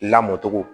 Lamɔ cogo